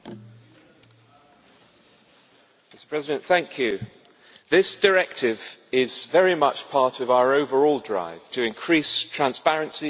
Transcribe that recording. Mr President, this directive is very much part of our overall drive to increase transparency and to improve consumer protection.